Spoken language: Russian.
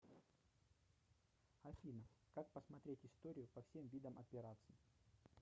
афина как посмотреть историю по всем видам операций